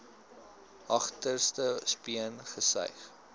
agterste speen gesuig